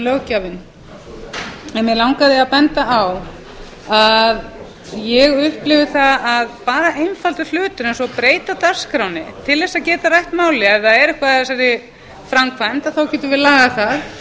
löggjafinn mig langaði að benda á að ég upplifi það að bara einfaldur hlutur eins og að breyta dagskránni til þess að geta rætt málið ef það er eitthvað að þessari framkvæmd getum við lagað það